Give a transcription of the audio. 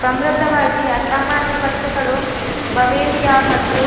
ಸಮೃದ್ಧವಾಗಿ ಅಸಾಮಾನ್ಯ ಭಕ್ಷ್ಯಗಳು ಬವೇರಿಯಾ ಮತ್ತು